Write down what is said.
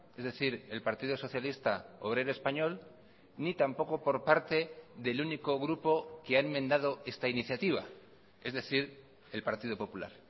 es decir el partido socialista obrero español ni tampoco por parte del único grupo que ha enmendado esta iniciativa es decir el partido popular